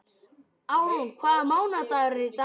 Árún, hvaða mánaðardagur er í dag?